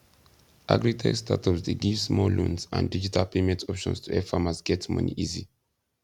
agritech startups dey give small loans and digital payment options to help farmers get money easy